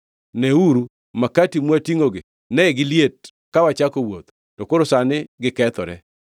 Neuru makati mwatingʼogi, ne giliet ka wachako wuoth, to koro sani gikethore.